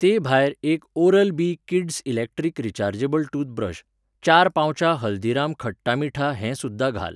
ते भायर एक oral B kids electric rechargeable toothbrush, चार पाउचां हल्दीराम खट्टा मीठा हें सुध्दां घाल.